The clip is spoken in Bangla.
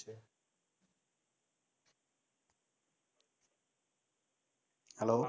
hello